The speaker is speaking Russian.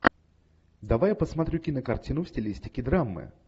давай я посмотрю кинокартину в стилистике драмы